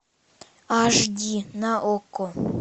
аш ди на окко